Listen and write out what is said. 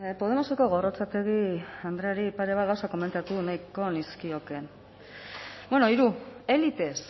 podemoseko gorrotxategi andreari pare bat gauza komentatu nahiko nizkioke bueno hiru élites